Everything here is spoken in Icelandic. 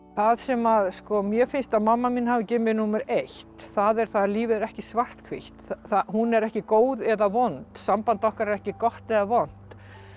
það sem mér finnst að mamma mín hafi gefið mér númer eitt er að lífið er ekki svarthvítt hún er ekki góð eða vond samband okkar er ekki gott eða vont